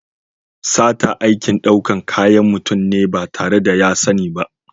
Sata aikin ɗaukan kayan mutum ne ba tare da ya sani ba.